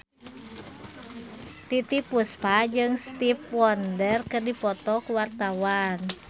Titiek Puspa jeung Stevie Wonder keur dipoto ku wartawan